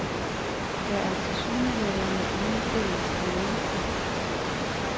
Der er tilsyneladende ingen fælles ledelse.